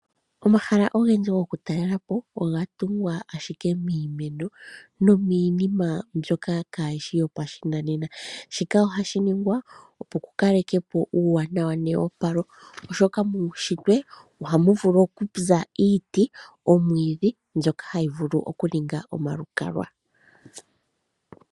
Omahala ogendji gokutalela po oga tungwa ashike miimeno nomiinima mbyoka kaayi shi yo pashinanena. Shika ohashi ningwa opo ku kalekwe po uuwanawa neopalo, oshoka muunshitwe ohamu vulu okuza iiti, omwiidhi, mbyoka hayi vulu okuninga omalukalwa.